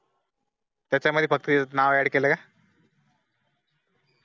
त्याचा मध्ये फक्त नाव add केला काय